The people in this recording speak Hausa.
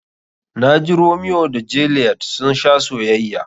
Na ji Romiyo da Jeliyet sun sha soyayya.